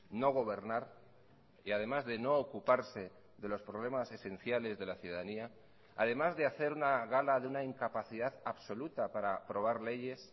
no gobernar y además de no ocuparse de los problemas esenciales de la ciudadanía además de hacer una gala de una incapacidad absoluta para aprobar leyes